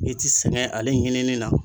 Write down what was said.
I ti sɛŋɛ ale ɲinini na